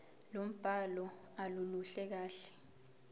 lombhalo aluluhle kahle